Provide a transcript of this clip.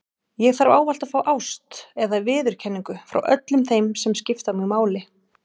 Ég þarf ávallt að fá ást eða viðurkenningu frá öllum þeim sem skipta mig máli.